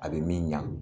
A bɛ min ɲa